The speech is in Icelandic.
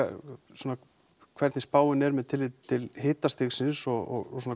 svona hvernig spáin er með tilliti til hitastigsins og